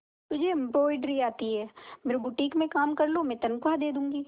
तुझे एंब्रॉयडरी आती है मेरे बुटीक में काम कर लो मैं तनख्वाह दे दूंगी